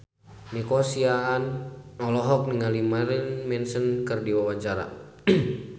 Nico Siahaan olohok ningali Marilyn Manson keur diwawancara